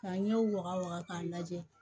Ka ɲɛw waga wa k'a lajɛ